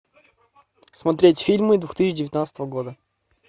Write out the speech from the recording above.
смотреть фильмы две тысячи девятнадцатого года